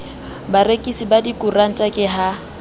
barekisi ba dikoranta ke ha